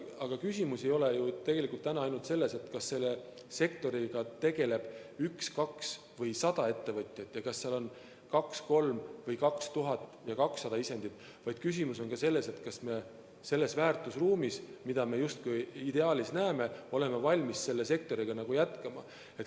Aga küsimus ei ole ju täna tegelikult ainult selles, kas selles sektoris tegeleb üks, kaks või sada ettevõtjat ja kas farmis on kaks, kolm, 2000 või 200 isendit, vaid küsimus on ka selles, kas me selles väärtusruumis, mida me justkui ideaalis näeme, oleme valmis selle sektoriga jätkama.